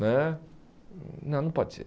Né não, não pode ser.